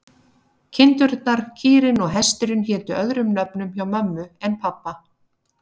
Kindurnar, kýrin og hesturinn hétu öðrum nöfnum hjá mömmu en pabba.